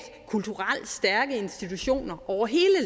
kulturelt stærke institutioner over hele